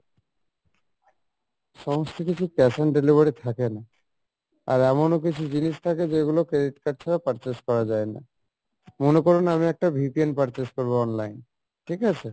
সমস্ত কিছু cash on delivery থাকে না, আর এমনও কিছু জিনিস থাকে যেগুলো credit card ছাড়া purchase করা যাই না, মনে করুন আমি একটা purchase করবো online, ঠিক আছে?